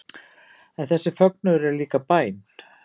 En þessi fögnuður er líka bæn